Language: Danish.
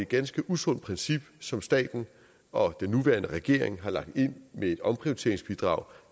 ganske usundt princip som staten og den nuværende regering har lagt ind med et omprioriteringsbidrag